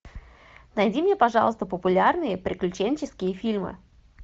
найди мне пожалуйста популярные приключенческие фильмы